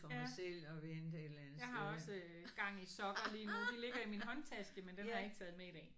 Ja. Jeg har også gang i sokker lige nu. De ligger i min men den har jeg ikke taget med i dag